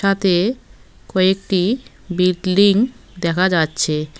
তাতে কয়েকটি বিল্ডিং দেখা যাচ্ছে।